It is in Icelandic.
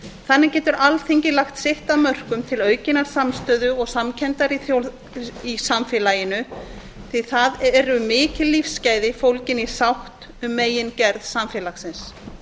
þannig getur alþingi lagt sitt af mörkum til aukinnar samstöðu og samkenndar í samfélaginu því að það eru mikil lífsgæði fólgin í sátt um megingerð samfélagsins